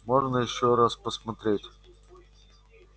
можно ещё раз посмотреть